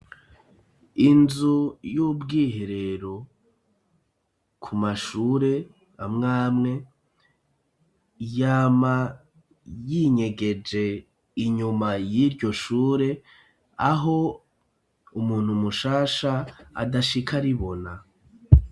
Inzu y'ubwiherero ku mashure amwe amwe ,yama yinyegeje inyuma y'iryo shure, aho umuntu mushasha adashika aribona.